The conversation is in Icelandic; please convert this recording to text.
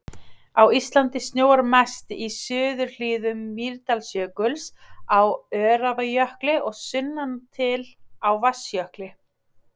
Á Íslandi snjóar mest í suðurhlíðum Mýrdalsjökuls, á Öræfajökli og sunnan til á Vatnajökli.